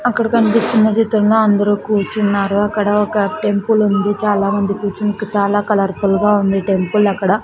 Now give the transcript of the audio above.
అక్కడ కన్పిస్తున్న చిత్రంలో అందరూ కూర్చున్నారు అక్కడ ఒక టెంపులుంది చాలామంది కూర్చుని చాలా కలర్ ఫుల్ గా ఉంది టెంపుల్ అక్కడ.